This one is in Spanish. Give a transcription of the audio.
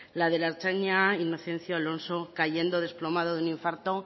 la del ertzaina inocencio alonso cayendo desplomado de un infarto